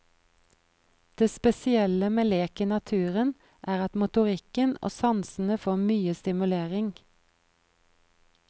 Det spesielle med lek i naturen er at motorikken og sansene får mye stimulering.